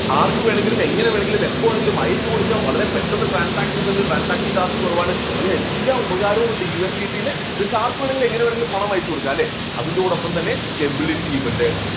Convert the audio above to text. ആർക്കു വേണമെങ്കിലും എങ്ങനെ വേണമെങ്കിലും എപ്പോൾ വേണമെങ്കിലും അയച്ചു കൊടുക്കാൻ വളരെ പെട്ടെന്ന് transactions ഉണ്ട് transactions charge കുറവാണ് അങ്ങനെ എല്ലാ ഉപകാരവും ഉണ്ട് USBT ല് ഇത് ആർക്കുവേണമെങ്കിലും എങ്ങനെ വേണമെങ്കിലും പണം അയച്ചുകൊടുക്കാം അല്ലേ? അതിനോടൊപ്പം തന്നെ stability യും ഉണ്ട്.